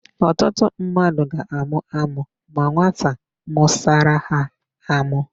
Ọtụtụ mmadụ ga-àmụ́ ámụ́ ma nwata mụsara ha ámụ́.